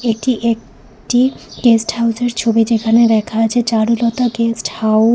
এটি এক টি গেস্টহাউসের ছবি যেখানে লেখা আছে চারুলতা গেস্ট হাউজ ।